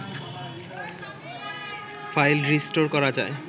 file restore করা যায়